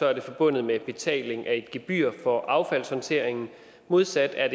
er det forbundet med betaling af et gebyr for affaldshåndteringen modsat er